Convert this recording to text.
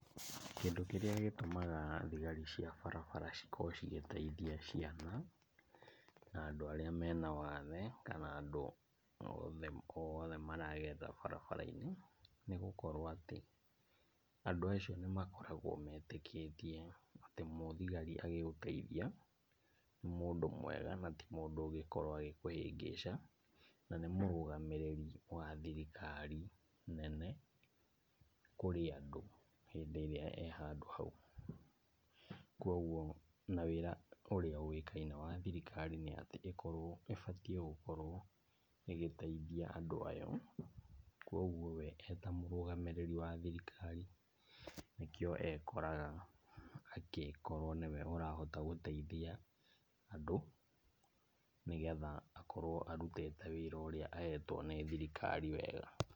Kĩndũ kĩrĩa gĩtũmaga thigari cia barabara cikorwo cigĩteithia ciana, na andũ arĩa me na wathe, kana andũ o othe, o othe maragerera barabara-inĩ. Nĩ gũkorwo atĩ, andũ acio nĩmakoragwo metĩkĩtie atĩ mũthigari agĩgũteithia, nĩ mũndũ mwega na ti mũndũ ũngĩkorwo agĩkũhingĩca. Na nĩ mũrũgamĩrĩri wa thirikari nene kũrĩ andũ, hĩndĩ ĩrĩa e handũ hau. Koguo na wĩra ũrĩa ũĩkaine wa thirikari nĩatĩ ĩkorowo, ĩbatiĩ gũkorwo ĩgĩteithia andũ ayo. Koguo we eta mũrũgamĩrĩri wa thirikari nĩkĩo ekoraga agĩkorwo nĩwe ũrahota gũteithia andũ nĩgetha akorwo arutĩte wĩra ũrĩa ahetwo nĩ thirikari wega.